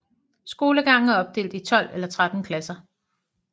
Skolegangen er opdelt i 12 eller 13 klasser